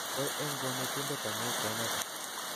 Kongoi eng konetindet amu keneta